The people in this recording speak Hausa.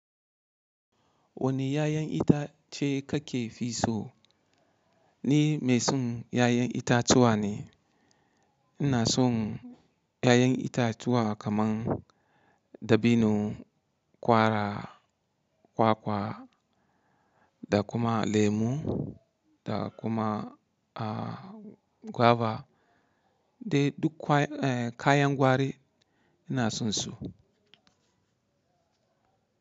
Wani 'ya'yan itace kake fi so? Ni mai son 'ya'yan itatuwa ne. Ina son 'ya'yan itatuwa kaman dabino, kwara, kwakwa da kuma lemu da kuma, ah, guava dai duk kwaye, eh, kayan gwari ina son su.